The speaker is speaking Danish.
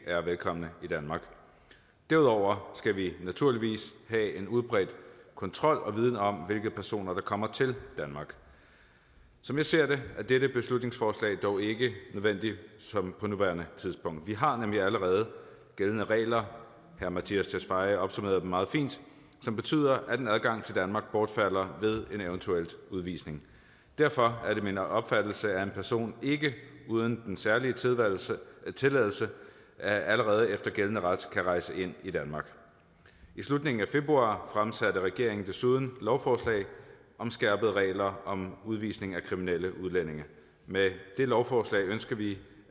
er velkomne i danmark derudover skal vi naturligvis have en udbredt kontrol og viden om hvilke personer der kommer til danmark som jeg ser det er dette beslutningsforslag dog ikke nødvendigt på nuværende tidspunkt vi har nemlig allerede gældende regler herre mattias tesfaye opsummerede dem meget fint som betyder at en adgang til danmark bortfalder ved en eventuel udvisning derfor er det min opfattelse at en person ikke uden den særlige tilladelse tilladelse allerede efter gældende ret kan rejse ind i danmark i slutningen af februar fremsatte regeringen desuden lovforslag om skærpede regler om udvisning af kriminelle udlændinge med det lovforslag ønsker vi